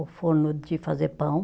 O forno de fazer pão.